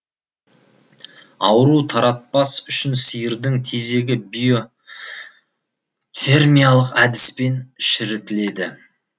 ауру таратпас үшін сиырдың тезегі биотермиялық әдіспен шірітіледі